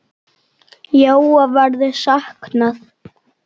Jóa verður saknað.